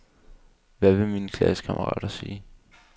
Hvad vil mine klassekammerater sige?